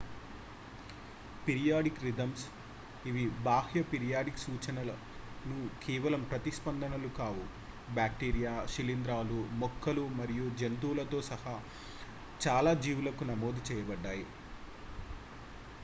periodic rhythms ఇవి బాహ్య periodic సూచనలకు కేవలం ప్రతిస్పందనలు కావు బ్యాక్టీరియా శిలీంధ్రాలు మొక్కలు మరియు జంతువులతో సహా చాలా జీవులకు నమోదు చేయబడ్డాయి